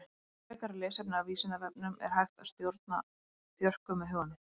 Frekara lesefni á Vísindavefnum Er hægt að stjórna þjörkum með huganum?